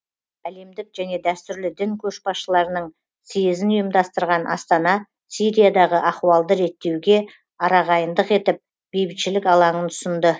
әлемдік және дәстүрлі дін көшбасшыларының съезін ұйымдастырған астана сириядағы ахуалды реттеуге арағайындық етіп бейбітшілік алаңын ұсынды